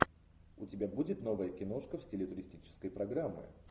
у тебя будет новая киношка в стиле туристической программы